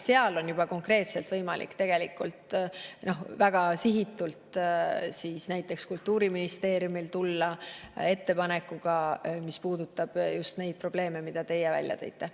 Seal on juba konkreetselt võimalik näiteks Kultuuriministeeriumil tulla väga sihitud ettepanekuga, mis puudutab just neid probleeme, mida teie välja tõite.